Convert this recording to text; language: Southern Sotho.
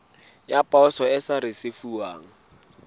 ya poso e sa risefuwang